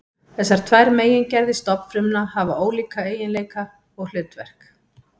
Þessar tvær megingerðir stofnfrumna hafa ólíka eiginleika og hlutverk.